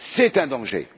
C'est un danger!